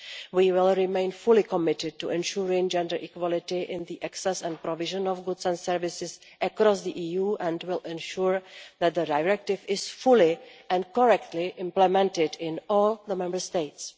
We will remain fully committed to ensuring gender equality in the access and provision of goods and services across the EU and will ensure that the Directive is fully and correctly implemented in all the Member States.